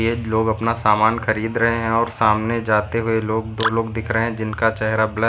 लोग अपना सामान खरीद रहे हैं और सामने जाते हुए लोग दो लोग दिख रहे हैं जिनका चेहरा ब्लर --